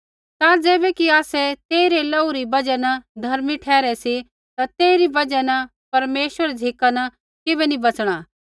ता ज़ैबै कि आसै तेई रै लोहू री बजहा न धर्मी ठहरै सी ता तेइरी बजहा न परमेश्वरा री झ़िका न किबै नी बच़णा